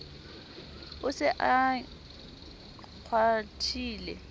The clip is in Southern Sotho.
o se a e kgwathile